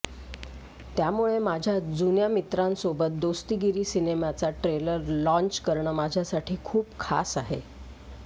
त्यामूळे माझ्या जुन्या मित्रासोबत दोस्तीगिरी सिनेमाचा ट्रेलर लॉन्च करणं माझ्यासाठी खूप खास आहे